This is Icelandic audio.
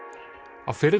á